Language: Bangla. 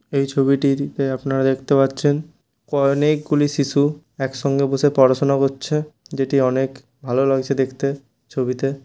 এই ছবিটির আপনারা দেখতে পারছেন অনেকগুলি শিশু একসঙ্গে বসে পড়াশুনা করছে যেটি অনেক ভালো লাগছে দেখতে ছবিতে --